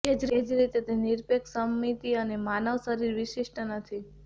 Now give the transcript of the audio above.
તે જ રીતે તે નિરપેક્ષ સમમિતિ અને માનવ શરીર વિશિષ્ટ નથી